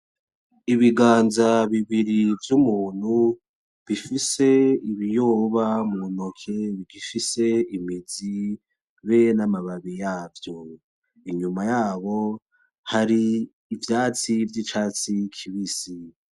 Ibiganza bibiri vy'umuntu bifise ibiyoba muntoke gifise imizi be n'amababi yavyo , inyuma yabo hari ivyatsi vyicatsi kibisi.